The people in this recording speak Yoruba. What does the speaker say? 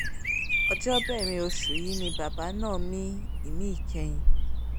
ọjọ́bẹ̀rin oṣù yìí ni bàbá náà mí ìmí ìkẹyìn